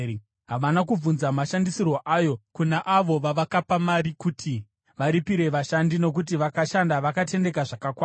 Havana kubvunza mashandisirwo ayo kuna avo vavakapa mari kuti varipire vashandi, nokuti vakashanda vakatendeka zvakakwana.